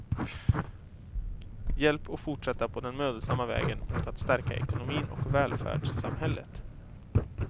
Hjälp att fortsätta på den mödosamma vägen mot att stärka ekonomin och välfärdssamhället.